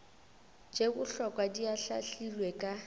tše bohlokwa di ahlaahlilwe ka